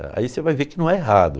Aí você vai ver que não é errado.